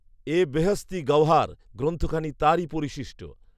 এ বেহেশতী গাওহার গ্রন্থখানি তারই পরিশিষ্ট